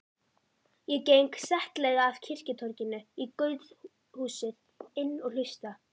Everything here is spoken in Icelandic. Ég geng settlega af kirkjutorginu í guðshúsið inn og hlusta.